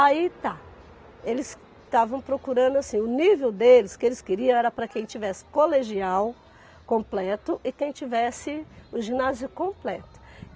Aí tá, eles estavam procurando assim, o nível deles, o que eles queriam era para quem tivesse colegial completo e quem tivesse o ginásio completo.